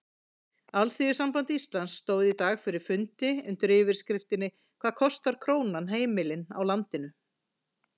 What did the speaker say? Alþýðusamband Íslands stóð í dag fyrir fundi undir yfirskriftinni Hvað kostar krónan heimilin í landinu?